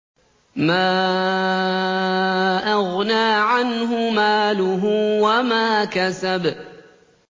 مَا أَغْنَىٰ عَنْهُ مَالُهُ وَمَا كَسَبَ